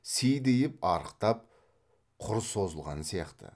сидиып арықтап құр созылған сияқты